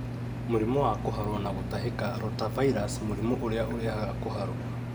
Mũrimũ wa kũharwo na gũtahĩka (Rotavirus): Mũrimũ ũrĩa ũrehaga kũharwo